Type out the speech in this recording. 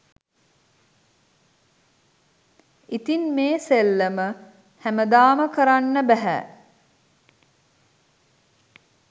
ඉතින් මේ සෙල්ලම හැමදාම කරන්න බැහැ